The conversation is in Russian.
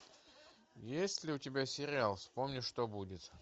есть ли у тебя сериал вспомни что будет